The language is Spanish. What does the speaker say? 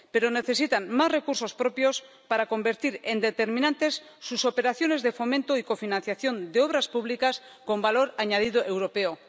Pero necesitan más recursos propios para convertir en determinantes sus operaciones de fomento y cofinanciación de obras públicas con valor añadido europeo